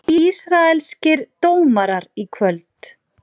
Ísraelskir dómarar í kvöld